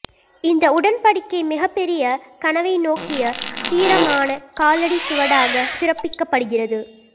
இந்த உடன்படிக்கை மிகப்பெரிய கனவை நோக்கிய தீரமான காலடி சுவடாக சிறப்பிக்கப்படுகிறது